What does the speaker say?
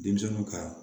Denmisɛnninw ka